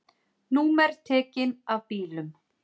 Númer tekin af bílum